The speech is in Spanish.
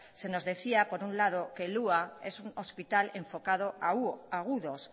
se nos decía por un lado que el hua es un hospital enfocado a agudos